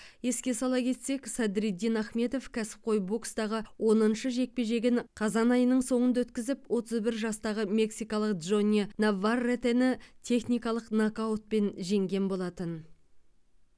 еске сала кетсек садриддин ахмедов кәсіпқой бокстағы оныншы жекпе жегін қазан айының соңында өткізіп отыз бір жастағы мексикалық джонни наварретені техникалық нокаутпен жеңген болатын